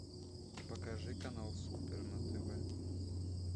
покажи канал супер на тв